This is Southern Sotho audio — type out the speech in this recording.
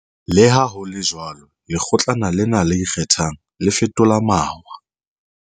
Leha ho le jwalo, Lekgotlana lena le Ikgethang, le fetola mawa.